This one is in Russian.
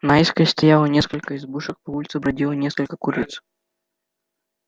наискось стояло несколько избушек по улице бродило несколько куриц